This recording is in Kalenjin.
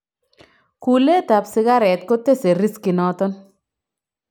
Kuulet ab sikaret kotese riskinoton